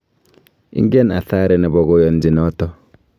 Ingen athari nebo koyanchi noto